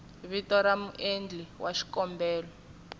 vito ra muendli wa xikombelo